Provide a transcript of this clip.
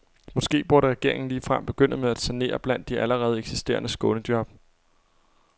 Måske burde regeringen ligefrem begynde med at sanere blandt de allerede eksisterende skånejob.